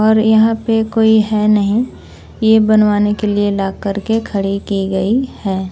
और यहां पे कोई है नहीं ये बनवाने के लिए लॉक करके खड़ी की गई है।